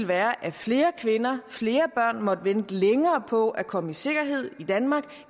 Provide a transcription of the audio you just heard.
være at flere kvinder og flere børn måtte vente længere på at komme i sikkerhed i danmark og